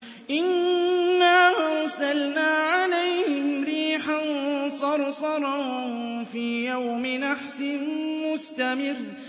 إِنَّا أَرْسَلْنَا عَلَيْهِمْ رِيحًا صَرْصَرًا فِي يَوْمِ نَحْسٍ مُّسْتَمِرٍّ